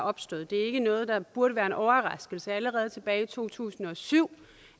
opstået det er ikke noget der burde være en overraskelse allerede tilbage i to tusind og syv